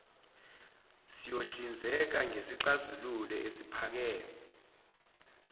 siyohlinzeka ngesixazululo esiphakade